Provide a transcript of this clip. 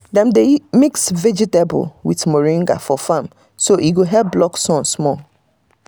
we dey mix vegetable with moringa for farm so e go help block sun small.